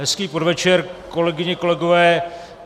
Hezký podvečer, kolegyně, kolegové.